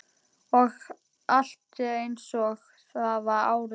Og allt er einsog það var áður.